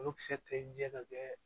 Olu kisɛ tɛ ɲɛ ka kɛ